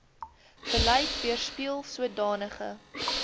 beleid weerspieel sodanige